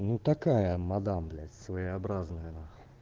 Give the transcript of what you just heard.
ну такая мадам блять своеобразная нахуй